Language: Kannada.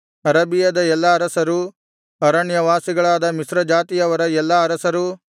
ಅರಬಿಯದ ಎಲ್ಲಾ ಅರಸರು ಅರಣ್ಯವಾಸಿಗಳಾದ ಮಿಶ್ರಜಾತಿಯವರ ಎಲ್ಲಾ ಅರಸರು